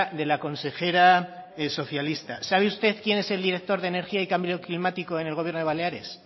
de la consejera socialista sabe usted quién es el director de energía y cambio climático en el gobierno de baleares